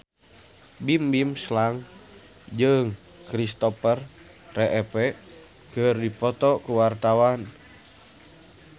Bimbim Slank jeung Kristopher Reeve keur dipoto ku wartawan